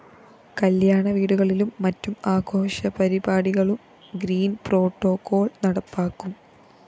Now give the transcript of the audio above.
കല്യാണ വീടുകളിലും മറ്റും ആഘോഷപരിപാടികളിലും ഗ്രീന്‍പ്രോട്ടോകോള്‍ നടപ്പാക്കും